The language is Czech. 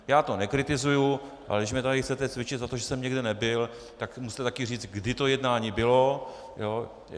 Já to nekritizuji, ale když mě tady chcete cvičit za to, že jsem někde nebyl, tak musíte taky říct, kdy to jednání bylo.